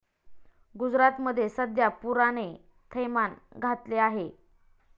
गुजरातमध्ये सध्या पुराने थैमान घातले आहे.